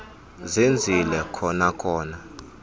zenzile kona kona